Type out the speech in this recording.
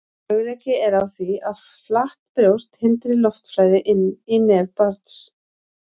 Möguleiki er á því að flatt brjóst hindri loftflæði inn í nef barns.